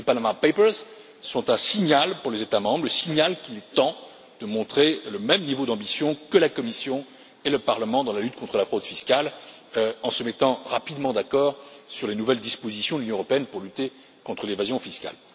Les Panama papers sont un signal pour les États membres, le signal qu'il est temps de montrer le même niveau d'ambition que la Commission et le Parlement dans la lutte contre la fraude fiscale, en se mettant rapidement d'accord sur les nouvelles dispositions de l'Union européenne pour lutter contre l'évasion fiscale.